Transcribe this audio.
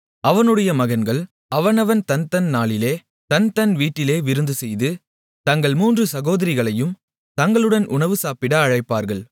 அவனுடைய மகன்கள் அவனவன் தன்தன் நாளிலே தன்தன் வீட்டிலே விருந்துசெய்து தங்கள் மூன்று சகோதரிகளையும் தங்களுடன் உணவு சாப்பிட அழைப்பார்கள்